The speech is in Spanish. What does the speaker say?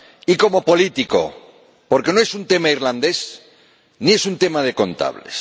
Y como político, porque no es un tema irlandés, ni es un tema de contables.